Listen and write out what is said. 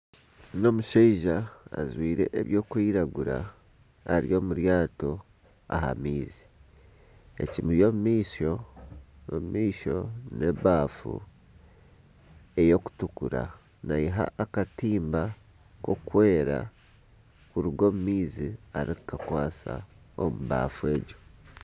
N'omushaija ajwaire ebirikwiragura ari omu ryato aha maizi ekimuri omu maisho n'ebaafu erikutukura nayiha akatimba k'okwera kuruga omu maizi arikukakwasa omu baafu egyo.